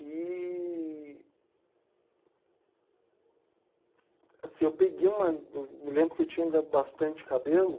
E... Assim, eu peguei uma... Eu me lembro que eu tinha ba bastante cabelo.